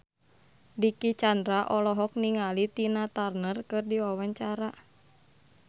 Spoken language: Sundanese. Dicky Chandra olohok ningali Tina Turner keur diwawancara